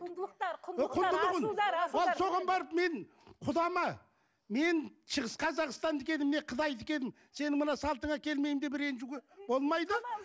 құндылықтар құндылығын ал соған барып мен құдама мен шығыс қазақстандікі едім мен қытайдікі едім сенің мына салтына келмеймін деп ренжуге болмайды